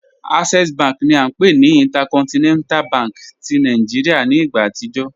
Access bank ni a npe ni Intercontinental bank ti Nigeria ni igba atijọ